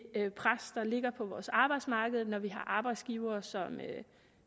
pres der ligger på vores arbejdsmarked når vi har arbejdsgivere som